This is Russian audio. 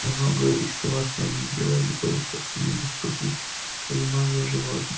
многое из того что они делали было просто недоступно пониманию животных